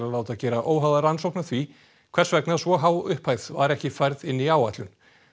láta gera óháða rannsókn á því hvers vegna svo há upphæð var ekki færð inn í áætlun